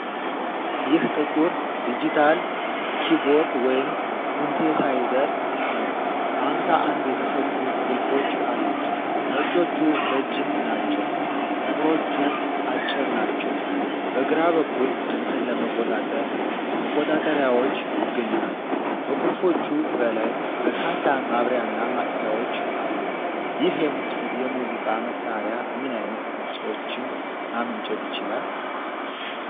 ይህ ጥቁር ዲጂታል ኪቦርድ ወይም ሲንቴሳይዘር ነው። አምሳ አንድ የተሰኩ ቁልፎች አሉት፤ ነጮቹ ረጅም ናቸው ጥቁሮቹ አጭር ናቸው። በግራ በኩል ድምፅን ለመቆጣጠር መቆጣጠሪያዎች ይገኛሉ። ከቁልፎቹ በላይ በርካታ ማብሪያና ማጥፊያዎች አሉ። ይህ የሙዚቃ መሳሪያ ምን ዓይነት ድምፆችን ማመንጨት ይችላል?